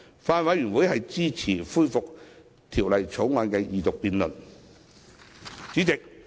法案委員會支持恢復《條例草案》二讀辯論。